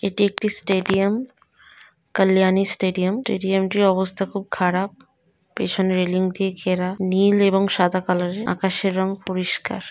এটি একটি stadium Kalyani stadium. Stadium টির অবস্থা খুব খারাপ। পেছনে রেলিং দিয়ে ঘেরা। নীল এবং সাদা কালার -এর। আকাশের রং পরিষ্কার।